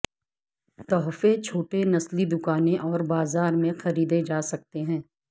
تحفے چھوٹے نسلی دکانیں اور بازار میں خریدے جا سکتے ہیں